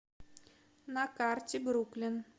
на карте бруклин